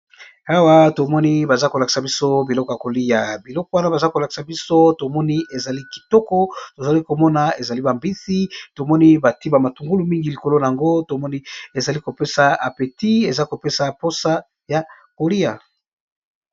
Awa tomoni baza kolakisa biso biloko ya kolia biloko wana baza kolakisa biso tomoni ezali kitoko tozali komona ezali ba mbisi tomoni batie ba matungulu mingi likolo nango tomoni ezali kopesa apeti eza kopesa mposa ya kolia.